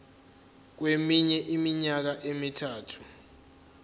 kweminye iminyaka emithathu